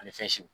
Ani fɛn siw